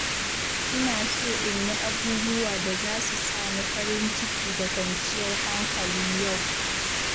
Ina so in yi abubuwa da za su sa ni farin ciki da kwanciyar hankali yau.